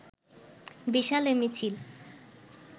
বিশাল এ মিছিল